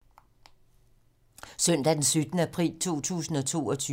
Søndag d. 17. april 2022